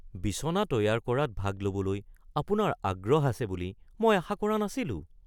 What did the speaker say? বিছনা তৈয়াৰ কৰাত ভাগ ল’বলৈ আপোনাৰ আগ্ৰহ আছে বুলি মই আশা কৰা নাছিলোঁ।